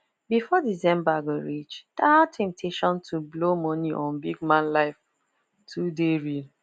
before december go reach that temptation to blow money on big man life too dey real